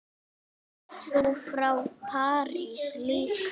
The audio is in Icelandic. Ert þú frá París líka?